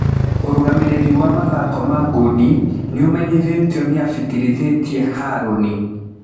Ũrũgamĩrĩri (wa mathako ma ngundi) nĩũmenyithĩtio" nĩafĩtĩrithĩthie Harũni.